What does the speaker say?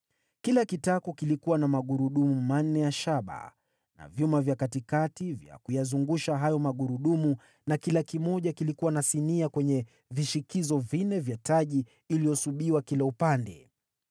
Kila kitako kilikuwa na magurudumu manne ya shaba, na vyuma vya katikati vya kuyazungusha hayo magurudumu na kila kimoja kilikuwa na sinia kwenye vishikizo vinne vya taji iliyosubiwa kila upande.